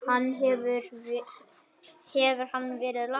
Hefur hann verið lasinn?